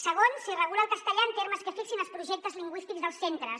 segon s’hi regula el castellà en termes que fixin els projectes lingüístics dels centres